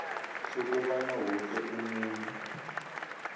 sokobana woke umuntu